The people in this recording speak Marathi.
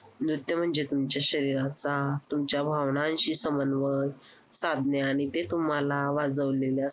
selection मध्ये चांगले clear diamond असतात तसे आम्हाला टक्के वारिवर काढायला